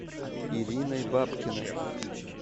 ириной бабкиной